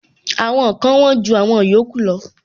Àwọn kan wón ju àwọn yòókù lọ.